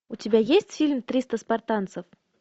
у тебя есть фильм триста спартанцев